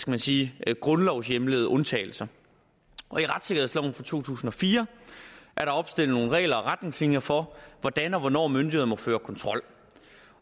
man sige grundlovshjemlede undtagelser i retssikkerhedsloven fra to tusind og fire er der opstillet nogle regler og retningslinjer for hvordan og hvornår myndigheder må føre kontrol